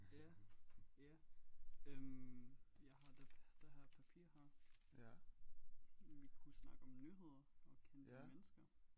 Ja ja øh jeg har det det her papir her vi kunne snakke om nyheder og kendte mennesker